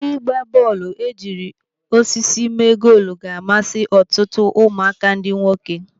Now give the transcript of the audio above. Ịgba bọọlụ ejiri osisi mee goolu ga-amasị ọtụtụ ụmụaka ndị nwoke.